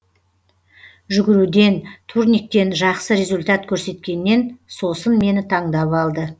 жүгіруден турниктен жақсы результат көрсеткеннен сосын мені таңдап алды